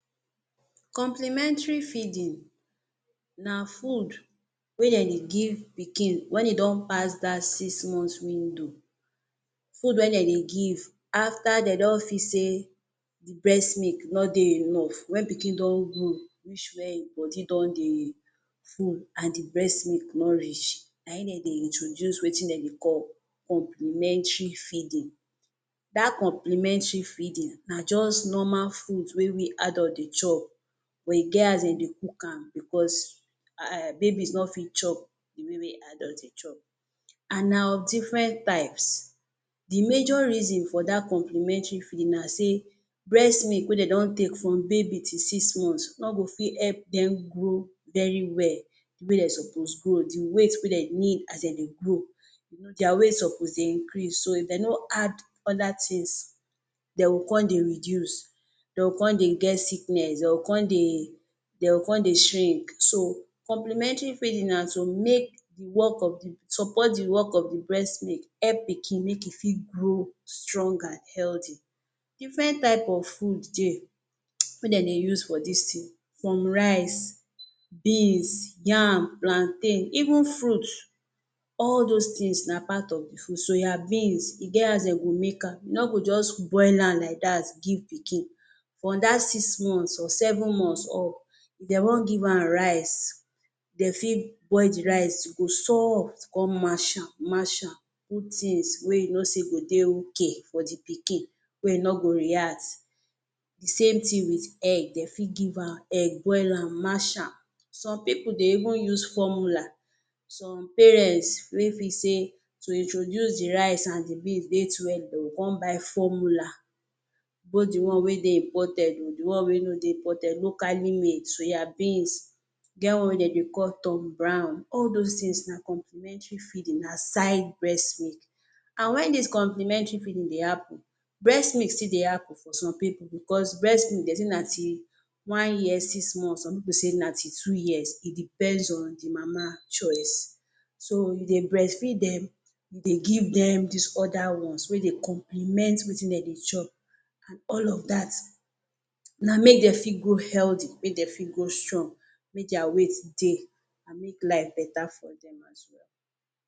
Complimentary feeding na food wey dem dey give pikin wen e don pass dat six months window food wey dem dey give afta dem don feel say di breast milk no dey enough wen pikin don grow reach wia im body don dey full and di breast milk no reach na im dem dey introduce wetin dem dey call Complimentary feeding. Dat Complimentary feeding na just normal food wey we adult dey chop we get as dem dey cook am bicos babies no fit chop di way way adult dey chop and na of diffren types. Di major reasons for dat complimentary feelin na say breast milk wey dem don take from baby to six months no go fit help dem grow very well di way dem suppose grow, di weight wey dem need as dem dey grow, dia weight suppose dey increase so if dem no add oda tins dem go come dey reduce, dem go come dey get sickness, dem go come dey dem go come dey shrink. So, complimentary feeding na to make di work of di support di work of di breast milk help pikin make im fir grow strong and healthy. Diffren type of food dey, wey dem dey use for dis tin, from rice, beans, yam, plantain, even fruits. All dos tins na part of di food. Soya beans e get as dem go make am you no go just boil am like dat give pikin. From dat six months or seven months up dem wan give am rice dem fit boil di rice, e go soft, come mash am Mash am, put tins wey you know say go dey ok for di pikin wey e no go react. Same tin wit egg. Dey fit Give am egg, boil am, mash am, some pipu dey use formula some parents wey feel say to introduce di rice and di beans dey too early, dem go come buy formula both di one wey dey imported o di one wey no dey imported, locally made, soya beans, e get one wey them dey call Tom brown. All dos tins na complimentary feeding aside breast milk. And wen dis complimentary feeding dey happun breast milk still dey happun for some pipu bicos breast milk dem say na till one year six months some pipu say na till two years e depends on di mama choice, so you dey breast feed dem, dey give dem dis oda ones wey dey compliment wetin dem dey chop and all of dat na make dem fit grow healthy, make dem fit grow strong make dia weight dey and make life betta for dem as well.